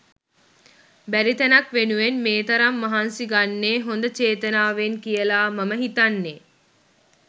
බැරි තැනක් වෙනුවෙන් මේ තරම් මහන්සි ගන්නේ හොඳ චේතනාවෙන් කියලා මම හිතන්නේ